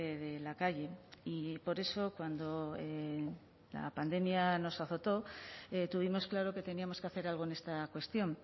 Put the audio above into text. de la calle y por eso cuando la pandemia nos azotó tuvimos claro que teníamos que hacer algo en esta cuestión